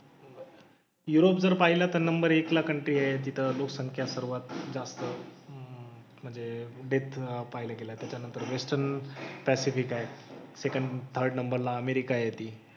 Europe जर पाहिलं तर नंबर एकला कंटरी आहे. तिथं लोकसंख्या सर्वात जास्त आहे. म्हणजे डेथ पाहायला गेलं तर. त्यानंतर वेस्टर्न पॅसिफिक आहे. सेकण्ड थर्ड नंबरला अमेरिका येते.